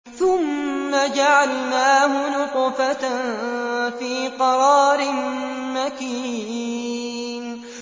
ثُمَّ جَعَلْنَاهُ نُطْفَةً فِي قَرَارٍ مَّكِينٍ